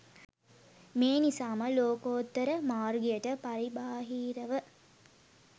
මේ නිසා ම ලෝකෝත්තර මාර්ගයට පරිබාහිර ව